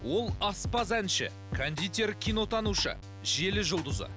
ол аспаз әнші кондитер кинотанушы желі жұлдызы